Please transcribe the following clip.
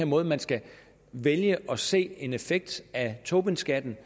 måde man skal vælge at se en effekt af tobinskatten